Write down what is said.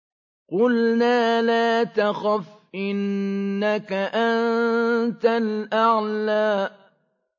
قُلْنَا لَا تَخَفْ إِنَّكَ أَنتَ الْأَعْلَىٰ